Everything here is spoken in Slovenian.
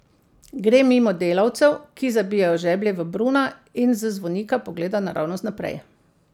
Gre mimo delavcev, ki zabijajo žeblje v bruna, in z zvonika pogleda naravnost naprej.